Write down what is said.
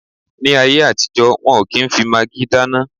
Ní ayé àtijọ́, wọ́n ò kí n fi magí dáná